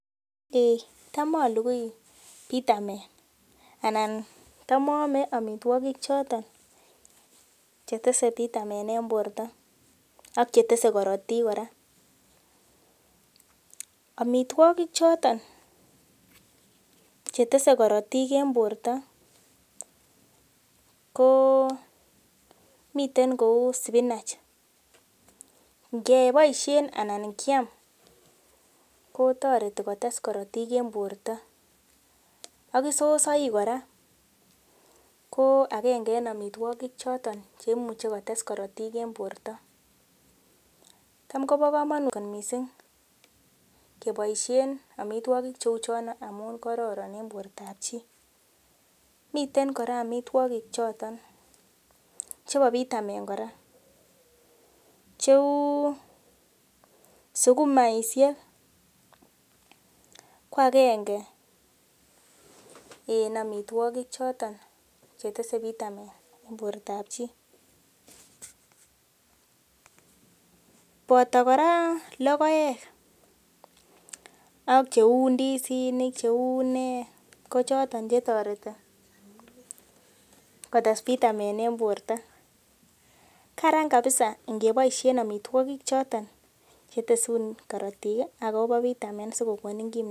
Eii tam alugui pitamin anan tam ayome amitwogik chotok chetese pitamin ak korotik en borto cheu spinach ak isosoik kora .Bo kamanut keboisien amitwogik cheu chotok amun kororon en bortab chi miten amitwogik choton chepo pitamen cheu sukuma ,logoek, ndisinik ako karan keboisien amitwogik chuton asikotesun kimnotet.